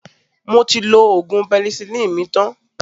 Mo ti lo ògùn penicillin mi tan